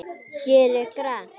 Hér er grænt.